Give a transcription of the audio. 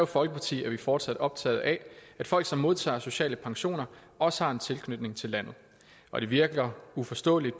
folkeparti er vi fortsat optaget af at folk som modtager sociale pensioner også har en tilknytning til landet og det virker uforståeligt